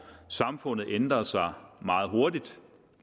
samfundet ændrer sig meget hurtigt